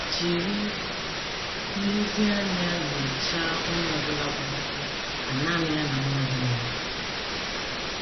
Jiri nlezianya nyochaa onye ọ bụla gwara gị ka nanị ya na nwa gị nọrọ.